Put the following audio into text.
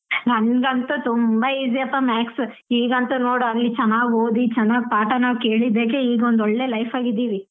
ನಂಗಂತು ತುಂಬ easy ಯಪ್ಪ maths ಈಗಂತು ನೋಡು ಚೆನ್ನಾಗ್ ಓದಿ ಚೆನ್ನಾಗ್ ಪಾಠ ಕೇಳಿದಕ್ಕೆ ಈಗ ಒಂದ್ ಒಳ್ಳೆ life ಎಲ್ಲಿದ್ದೀವಿ